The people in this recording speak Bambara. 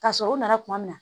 Ka sɔrɔ u nana kuma min na